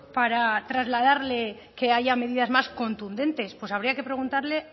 para trasladarle que haya medidas más contundentes pues habría que preguntarle